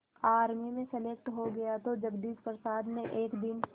army में selected हो गया तो जगदीश प्रसाद ने एक दिन